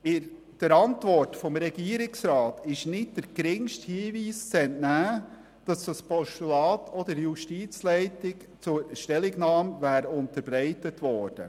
Der Regierungsantwort ist nicht der geringste Hinweis zu entnehmen, dass das Postulat auch der Justizleitung zur Stellungnahme unterbreitet wurde.